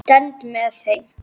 Ég stend með þeim.